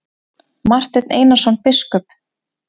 Marteinn Einarsson biskup!